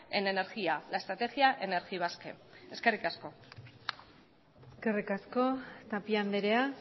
en energía la estrategia energibasque eskerrik asko eskerrik asko tapia andrea